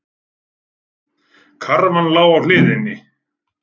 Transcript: Karfan lá á hliðinni.